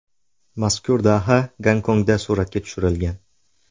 Mazkur daha Gonkongda suratga tushirilgan.